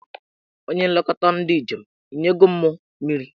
Onye nlekọta ndị njem, ị nye go mụ mmiri?